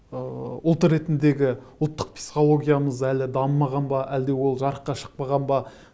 ыыы ұлт ретіндегі ұлттық психологиямыз әлі дамымаған ба әлде ол жарыққа шықпаған ба